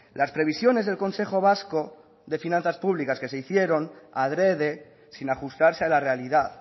las previsiones del consejo vasco de finanzas públicas que se hicieron adrede sin ajustarse a la realidad